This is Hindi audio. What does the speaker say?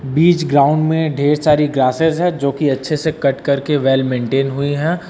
बीच ग्राउंड में ढेर सारी ग्रासेस है जो कि अच्छे से कट कर के वेल मेंटेंन हुई हैं।